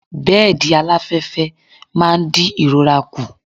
Bẹ́ẹ̀dì aláfẹ́fẹ́ máa ń di ìrora kù.